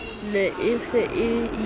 ne e se e ie